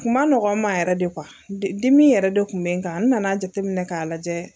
Kun ma nɔgɔ n ma yɛrɛ de dimi yɛrɛ de kun bɛ n kan n nana jateminɛ k'a lajɛ.